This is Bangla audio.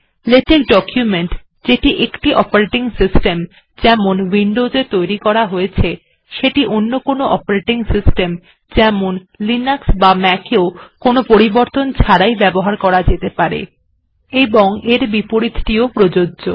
লেটেক্ ডকুমেন্ট যেটি কোনো একটি অপারেটিং সিস্টেম যেমন উইন্ডোস্ এ তৈরী করা হয়েছে সেটি অন্য কোনো অপারেটিং সিস্টেম যেমন লিনাক্স বা ম্যাক এও কোনো পরিবর্তন ছাড়াই ব্যবহার করা যেতে পারে এবং এর বিপরীতটিও প্রযোজ্য